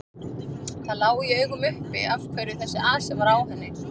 Það lá í augum uppi af hverju þessi asi var á henni.